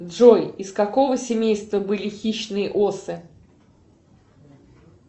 джой из какого семейства были хищные осы